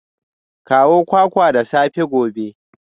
Kawo kwakwa da sassafe gobe